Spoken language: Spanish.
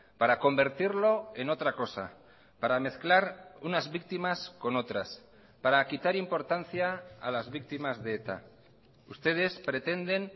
para convertirlo en otra cosa para mezclar unas víctimas con otras para quitar importancia a las víctimas de eta ustedes pretenden